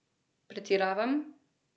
Pretiravam?